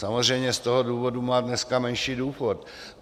Samozřejmě z toho důvodu má dneska menší důchod.